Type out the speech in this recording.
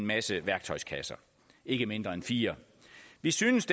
masse værktøjskasser ikke mindre end fire vi synes